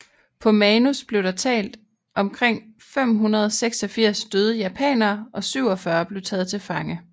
På manus blev der talt omkring 586 døde japanere og 47 blev taget til fange